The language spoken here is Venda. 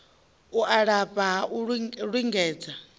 u lafha ha u lingedza